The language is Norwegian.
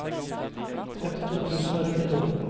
femtito tusen og trettito